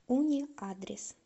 уни адрес